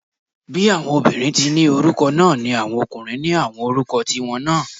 Bí àwọn obìnrin tí ni orúkọ náà ni àwọn ọkùnrin ní àwọn orúkọ tí wọn náà